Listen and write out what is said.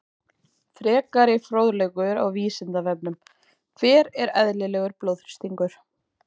Frekari fróðleikur á Vísindavefnum: Hver er eðlilegur blóðþrýstingur?